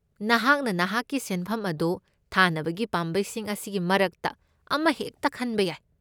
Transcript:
ꯅꯍꯥꯛꯅ ꯅꯍꯥꯛꯀꯤ ꯁꯦꯟꯐꯝ ꯑꯗꯨ ꯊꯥꯅꯕꯒꯤ ꯄꯥꯝꯕꯩꯁꯤꯡ ꯑꯁꯤꯒꯤ ꯃꯔꯛꯇ ꯑꯃꯍꯦꯛꯇ ꯈꯟꯕ ꯌꯥꯏ꯫